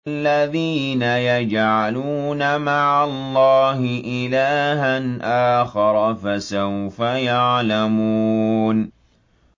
الَّذِينَ يَجْعَلُونَ مَعَ اللَّهِ إِلَٰهًا آخَرَ ۚ فَسَوْفَ يَعْلَمُونَ